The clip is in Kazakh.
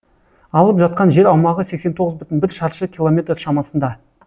алып жатқан жер аумағы сексен тоғыз бүтін бір шаршы километр шамасында